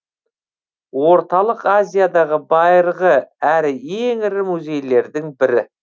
орталық азиядағы байырғы әрі ең ірі музейлердің бірі